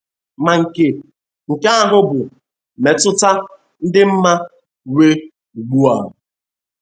Ma nke nke ahụ bụ mmetụta dị mma inwe ugbu a.